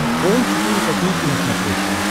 хоум четыре ка на смотрешке